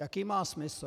Jaký má smysl?